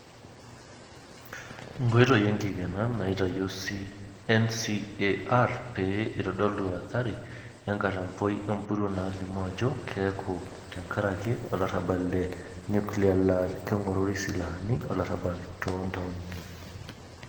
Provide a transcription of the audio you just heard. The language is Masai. Nkoitoi enkikena naitoyio NCAR pee eitodolu athari enkatampoi empuruo nalimu aajo keeku tenkaraki olarabal le nuclear laa kengorori silahani olarabal toontaonini.